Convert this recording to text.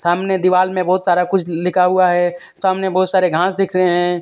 सामने दीवाल में बहुत सारा कुछ लिखा हुआ है सामने बहुत सारे घास दिख रहे हैं।